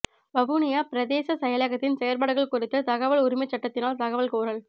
வவுனியா பிரதேச செயலகத்தின் செயற்பாடுகள் குறித்து தகவல் உரிமைச்சட்டத்தினால் தகவல் கோரல்